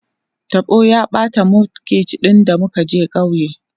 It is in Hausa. taɓo ya ɓata mud guard ɗin da muka je kauye